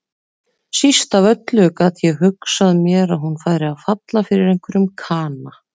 Síst af öllu gat ég hugsað mér að hún færi að falla fyrir einhverjum kana.